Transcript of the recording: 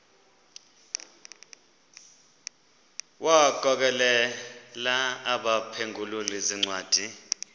wagokelela abaphengululi zincwadi